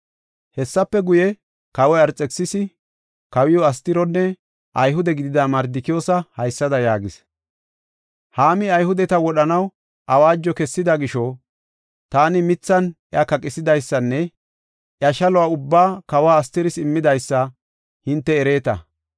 Hessafe guye, kawoy Arxekisisi, kawiw Astironne Ayhude gidida Mardikiyoosa haysada yaagis; “Haami Ayhudeta wodhanaw awaajo kessida gisho, taani mithan iya kaqisidaysanne iya shaluwa ubbaa kawe Astiris immidaysa hinte ereeta.